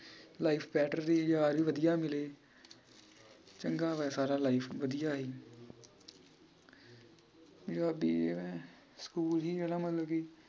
life better ਰਹੀ ਯਾਰ ਵੀ ਵਧੀਆ ਮਿਲੇ ਚੰਗਾ ਹੋਇਆ ਸਾਰਾ life ਵਧੀਆ ਹੀ ਸਕੂਲ ਹੀ ਜਿਹੜਾ ਮਤਲਬ ਕਿ